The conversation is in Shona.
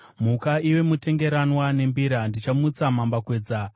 Muka iwe mutengeranwa nembira! Ndichamutsa mambakwedza.